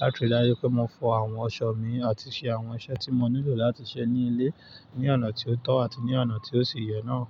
láti rí dájú pé mo fọ àwọn aṣọ mi àti ṣe àwọn iṣẹ́ tí mo nílò láti ṣe ní ilé ní ọ̀nà tí ó tọ́ àti ní ọ̀nà tí ó sì yẹ náà.